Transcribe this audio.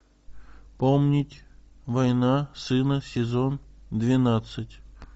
помнить война сына сезон двенадцать